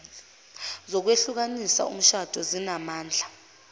zokwehlukanisa umshado zinamandla